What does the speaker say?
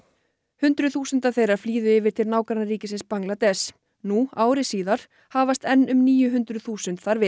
hundruð þúsunda flýðu yfir til nágrannaríkisins Bangladess nú ári síðar hafast enn um níu hundruð þúsund þar við